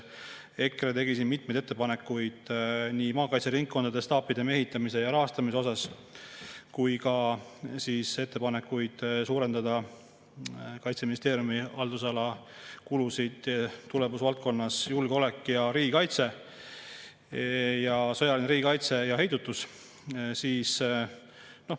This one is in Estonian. EKRE tegi siin mitmeid ettepanekuid maakaitseringkondade staapide mehitamise ja rahastamise kohta ja ettepanekuid suurendada Kaitseministeeriumi haldusala kulusid tulemusvaldkonna "Julgeolek ja riigikaitse" "Sõjaline riigikaitse ja heidutus".